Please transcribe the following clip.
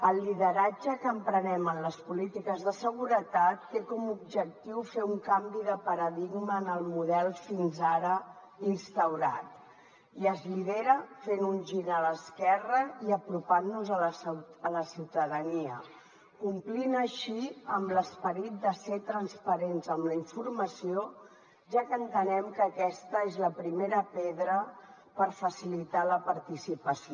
el lideratge que emprenem en les polítiques de seguretat té com a objectiu fer un canvi de paradigma en el model fins ara instaurat i es lidera fent un gir a l’esquerra i apropant nos a la ciutadania complint així amb l’esperit de ser transparents amb la informació ja que entenem que aquesta és la primera pedra per facilitar la participació